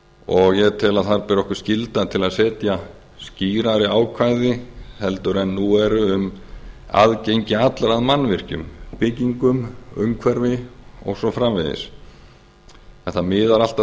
og ég tel að þar beri okkur skylda til að setja skýrari ákvæði heldur en nú eru um aðgengi allra að mannvirkjum byggingum umhverfi og svo framvegis en það miðar allt að